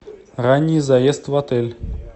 ранний заезд в отель